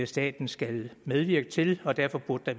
staten skal medvirke til og derfor burde der